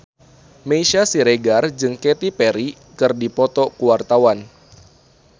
Meisya Siregar jeung Katy Perry keur dipoto ku wartawan